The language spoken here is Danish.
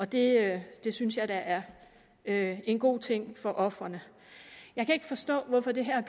det det synes jeg da er en god ting for ofrene jeg kan ikke forstå at det her